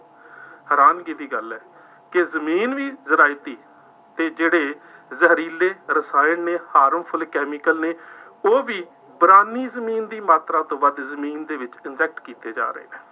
ਹੈਰਾਨਗੀ ਦੀ ਗੱਲ ਹੈ ਕਿ ਜ਼ਮੀਨ ਦੀ ਜ਼ਰਾਇਤੀ ਅਤੇ ਜਿਹੜੇ ਜ਼ਹਿਰੀਲੇ ਰਸਾਇਣ ਨੇ harmful chemical ਨੇ ਉਹ ਵੀ ਵਿਰਾਨੀ ਜ਼ਮੀਨ ਦੀ ਮਾਤਰਾ ਤੋਂ ਵੱਧ ਜ਼ਮੀਨ ਦੇ ਵਿੱਚ inject ਕੀਤੇ ਜਾ ਰਹੇ ਨੇ।